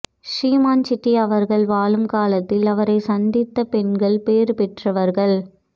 ஸ்ரீமான் சிட்டி அவர்கள் வாழும் காலத்தில் அவரை சந்தித்த பெண்கள் பேறு பெற்றவர்கள்